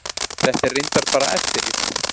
Þetta er reyndar bara eftirrit.